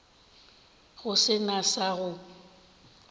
go se na sa go